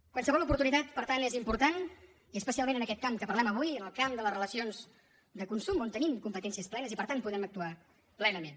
qualsevol oportunitat per tant és important i especialment en aquest camp que parlem avui en el camp de les relacions de consum on tenim competències plenes i per tant podem actuar plenament